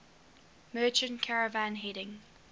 merchant caravan heading